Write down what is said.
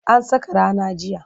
An saka rana jiya.